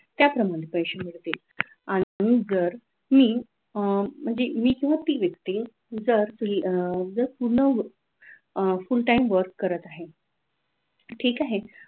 त्याप्रमाणे पैसे मिळतील आणि जर मी अह किंवा ती व्यक्ती जर अह पूर्ण अह full timework करत आहे ठीक आहे